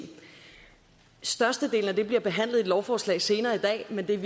størstedelen af det bliver behandlet i et lovforslag senere i dag men det er